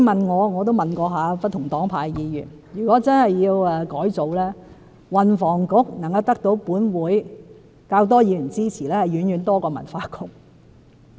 我也曾徵詢不同黨派的議員，如果真的要改組，運房局的改組能夠獲得立法會較多議員支持，而且遠遠多於文化局。